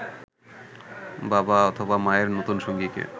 বাবা অথবা মায়ের নতুনসঙ্গীকে